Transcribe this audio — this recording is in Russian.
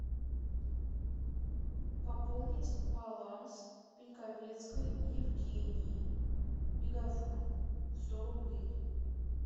пополнить баланс пеньковецкой евгении мегафон сто рублей